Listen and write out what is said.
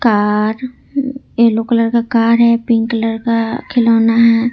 Are yellow colour का car है pink colour का खिलौना है।